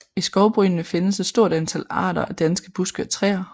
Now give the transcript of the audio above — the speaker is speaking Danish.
I skovbrynene findes et stort antal arter af danske buske og træer